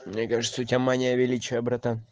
мне кажется у тебя мания величия братан